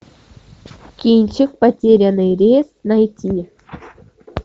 кинчик потерянный рейс найти